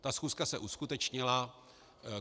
Ta schůzka se uskutečnila.